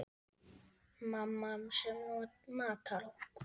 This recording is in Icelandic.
Mamma sem matar okkur.